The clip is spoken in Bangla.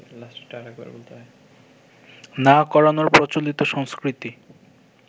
না করানোর প্রচলিত সংস্কৃতি